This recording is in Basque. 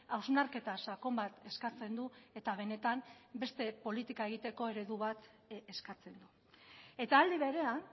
hausnarketa sakon bat eskatzen du eta benetan beste politika egiteko eredu bat eskatzen du eta alde berean